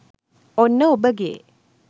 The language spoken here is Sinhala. ඔන්න ඔබගේ